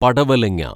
പടവലങ്ങാ